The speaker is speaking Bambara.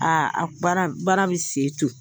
a baara bɛ se to